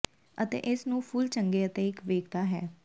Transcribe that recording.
ਅਤੇ ਇਸ ਨੂੰ ਫੁੱਲ ਚੰਗੇ ਅਤੇ ਇੱਕ ਵੇਖਦਾ ਹੈ